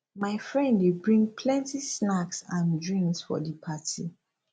my friend dey bring plenty snacks and drinks for di party